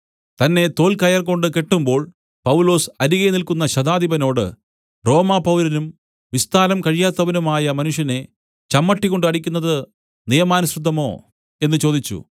തന്നെ തോൽകയർ കൊണ്ട് കെട്ടുമ്പോൾ പൗലൊസ് അരികെ നില്ക്കുന്ന ശതാധിപനോട് റോമാപൗരനും വിസ്താരം കഴിയാത്തവനുമായ മനുഷ്യനെ ചമ്മട്ടികൊണ്ട് അടിക്കുന്നത് നിയമാനുസൃതമോ എന്നു ചോദിച്ചു